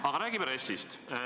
Aga räägime RES-ist.